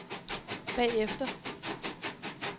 bagefter